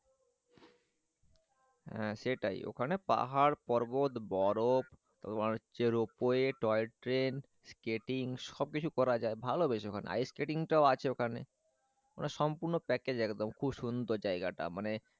হ্যাঁ সেটাই ওখানে পাহাড় পর্বত বরফ তোমার হচ্ছে রোপ ওয়ে টয়ট্রেন স্কেটিং সবকিছু করা যায় ভালোবেস আইসকেটিং টাও আছে ওখানে মানে সম্পূর্ণ প্যাকেজ একদম খুব সুন্দর জায়গাটা। মানে,